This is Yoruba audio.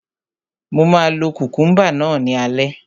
Mo máa lo kukumba náà ní alẹ́